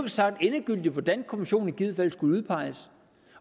sagt endegyldigt hvordan kommissionen i givet fald skulle udpeges